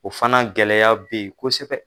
O fana gɛlɛya bɛ yen kosɛbɛ